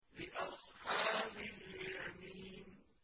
لِّأَصْحَابِ الْيَمِينِ